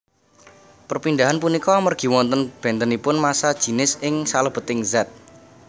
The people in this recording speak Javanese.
Perpindahan punika amergi wonten bentenipun massa jinis ing salebeting zat